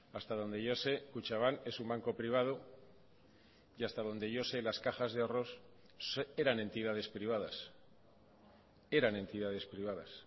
hasta donde yo sé kutxabank es un banco privado y hasta donde yo sé las cajas de ahorros eran entidades privadas eran entidades privadas